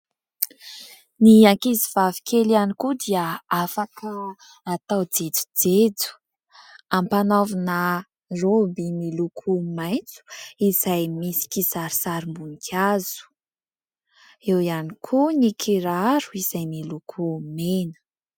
Ny ankizy vavikely ihany koa dia afaka atao jejojejo. Ampanaovina raoby miloko maitso izay misy kisarisarim-boninkazo. Eo ihany koa ny kiraro izay miloko mena.